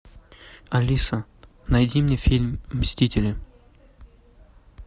алиса найди мне фильм мстители